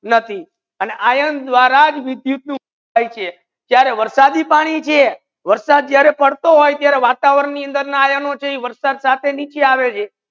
નથી આને આયન દ્વારજ વિદ્યુત નુ વહન થાય છે જ્યારે વરસાદી પાણી છે વરસાદ જ્યારે પડતો હોય ત્યારે વાતવરણ ની અંદર ના આયનો વરસાદ સાથે નીચે આવો છે